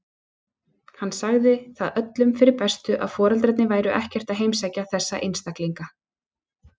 Hann sagði það öllum fyrir bestu að foreldrarnir væru ekkert að heimsækja þessa einstaklinga.